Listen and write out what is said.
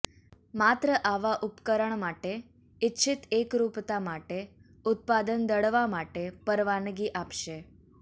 માત્ર આવા ઉપકરણ માટે ઇચ્છિત એકરૂપતા માટે ઉત્પાદન દળવા માટે પરવાનગી આપશે